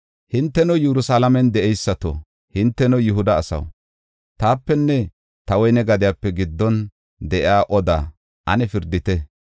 “Hinteno, Yerusalaamen de7eysato, hinteno Yihuda asaw, taapenne ta woyne gadiya giddon de7iya odaa ane pirdite.